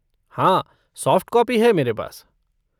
हाँ, soft copy है मेरे पास।